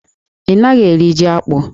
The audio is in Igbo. Ị na-ere jí akpụ?